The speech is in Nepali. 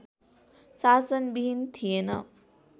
शासन बिहीन थिएन